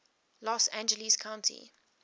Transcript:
los angeles county